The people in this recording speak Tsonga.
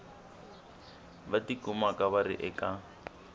va tikumaka va ri eka